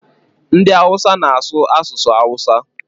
Ndị awụsa na-asụ asụsụ awụsa.